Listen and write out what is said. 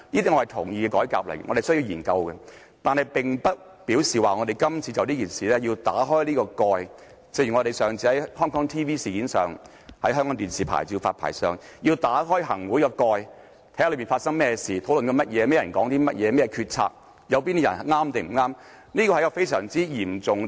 但是，這並不表示我們要就今次這件事打開這個蓋。正如我們上次在港視牌照事件上，要打開行會的蓋，看看當中發生甚麼事、正在討論甚麼、甚麼人說了甚麼話、有甚麼決策、哪些人對、哪些人錯，這是非常嚴重的。